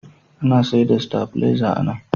Ana sayar da sitabileza a nan.